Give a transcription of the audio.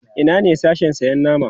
Ina ne Sashen sayan nama?